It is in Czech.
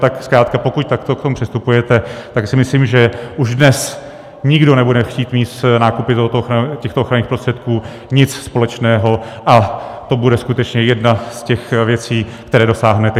Tak zkrátka pokud takto k tomu přistupujete, tak si myslím, že už dnes nikdo nebude chtít mít s nákupy těchto ochranných prostředků nic společného, a to bude skutečně jedna z těch věcí, které dosáhnete.